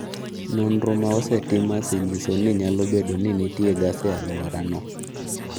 Nonro ma osetim osenyiso ni nyalo bedo ni nitie gas e alworano.